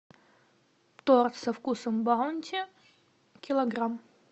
торт со вкусом баунти килограмм